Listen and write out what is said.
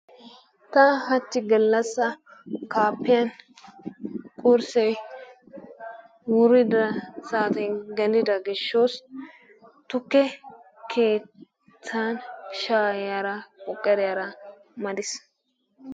Ta hachchi gallassa kaappiyan qurssee wurida saaten gelida gishshoosi tukke keettan shaayara qoqorera madis.